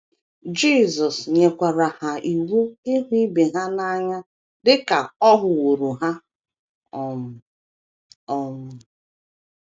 Jisọs nyekwara ha iwu ịhụ ibe ha n’anya dị ka ọ hụworo ha um. um.